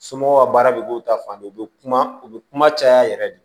Somɔgɔw ka baara bɛ k'o ta fan bɛɛ u bɛ kuma u bɛ kuma caya yɛrɛ de